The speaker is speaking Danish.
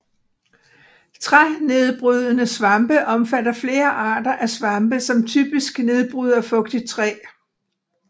Trænedbrydende svampe omfatter flere arter af svampe som typisk nedbryder fugtigt træ